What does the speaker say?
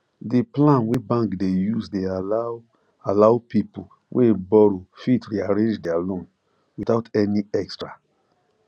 d plan wey bank de use de allow allow people wey borrow fit rearrange their loan without any extra